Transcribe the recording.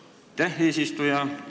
Aitäh, eesistuja!